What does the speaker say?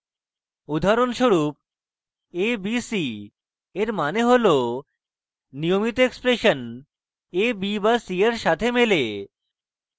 উদাহরণস্বরূপ abc eg মানে হল নিয়মিত expression a b b b c eg সাথে মেলে